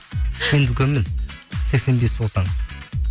мен үлкенмін сексен бес болсаң